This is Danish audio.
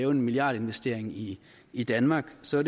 en milliardinvestering i i danmark ser